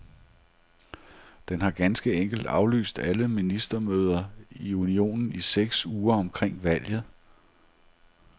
Den har ganske enkelt aflyst alle ministermøder i unionen i seks uger omkring valget.